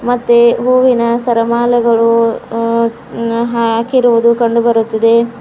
ಮತ್ತೆ ಹೂವಿನ ಸರಮಾಲೆಗಳು ಉ ಹಾಕಿರುವುದು ಕಂಡು ಬರುತ್ತಿದೆ.